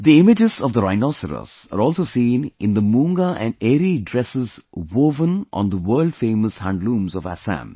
The images of the rhinoceros are also seen in the Moonga and Eri dresses woven on the world famous handlooms of Assam